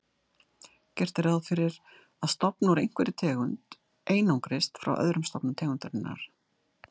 Gert er ráð fyrir að stofn úr einhverri tegund einangrist frá öðrum stofnum tegundarinnar.